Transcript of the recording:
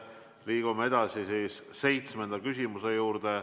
Liigume edasi seitsmenda küsimuse juurde.